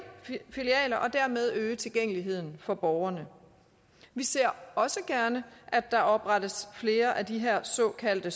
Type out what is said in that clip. filialer og dermed øge tilgængeligheden for borgerne vi ser også gerne at der oprettes flere af de her såkaldte